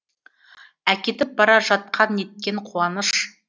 әкетіп бара жатқан неткен қуаныш